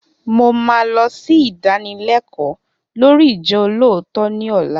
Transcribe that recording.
Mo máa lọ sí ìdánilẹkọ́ lórii ijolootọ ní ọ̀la